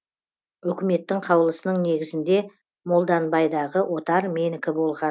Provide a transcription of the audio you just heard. өкіметтің қаулысының негізінде молданбайдағы отар менікі болған